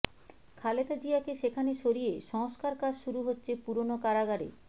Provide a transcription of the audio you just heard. খালেদা জিয়াকে সেখানে সরিয়ে সংস্কারকাজ শুরু হচ্ছে পুরনো কারাগারে